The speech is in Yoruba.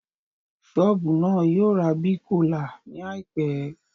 Ṣọ́ọ̀bù náà yóò ra Big Cola ní àìpẹ́